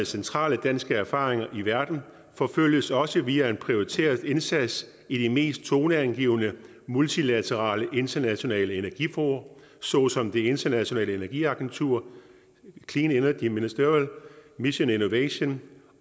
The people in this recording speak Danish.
centrale danske erfaringer i verden forfølges også via en prioriteret indsats i de mest toneangivende multilaterale internationale energifora såsom det internationale energiagentur clean energi ministerial mission innovation